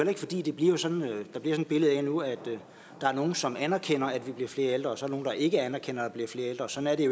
ikke fordi der bliver sådan et billede af nu at der er nogle som anerkender at vi bliver flere ældre og så nogle der ikke anerkender at der bliver flere ældre sådan er